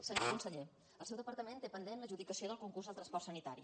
senyor conseller el seu departament té pendent l’adjudicació del concurs de transport sanitari